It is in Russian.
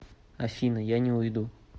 афина я не уйду